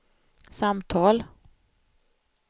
samtal